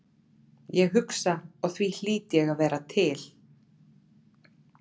Ég hugsa og því hlýt ég að vera til.